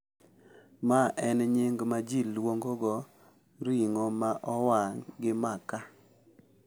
Ma en nying’ ma ji luongogo ring’o ma owang’ gi makaa.